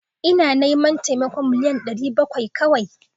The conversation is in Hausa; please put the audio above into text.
Ina neman taimakon million ɗari bakwai kawia